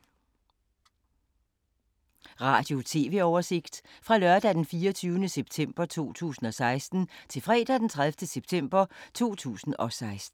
Radio/TV oversigt fra lørdag d. 24. september 2016 til fredag d. 30. september 2016